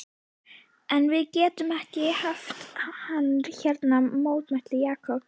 En við getum ekki haft hann hérna mótmælti Jakob.